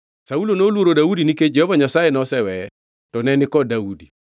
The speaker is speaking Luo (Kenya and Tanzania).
Saulo noluoro Daudi nikech Jehova Nyasaye noseweye, to ne ni kod Daudi.